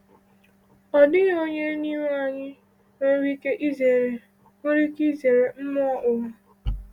Ọ dịghị onye n’ime anyị nwere ike izere nwere ike izere mmụọ ụwa.